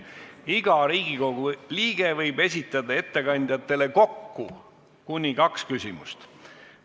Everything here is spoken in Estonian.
Iga Riigikogu liige võib esitada ettekandjatele kokku kuni kaks küsimust.